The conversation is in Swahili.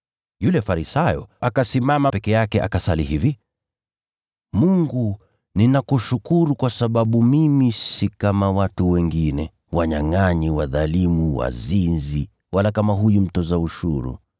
Yule Farisayo, akasimama, akasali hivi na kuomba kwake mwenyewe: ‘Mungu, nakushukuru kwa sababu mimi si kama watu wengine ambao ni wanyangʼanyi, wadhalimu, na wazinzi, wala kama huyu mtoza ushuru.